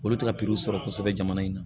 Olu tɛ ka piriw sɔrɔ kosɛbɛ jamana in na